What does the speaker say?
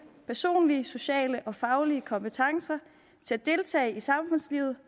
personlige sociale og faglige kompetencer til at deltage i samfundslivet